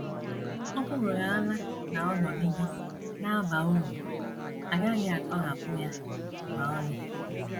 Ọ bụrụhaala na ọ nọgide na - aba uru, a gaghị atọhapụ ya ma ọlị.